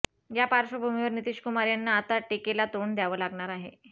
या पार्श्वभूमीवर नितिशकुमार यांना आता टिकेला तोंड द्यावं लागणार आहे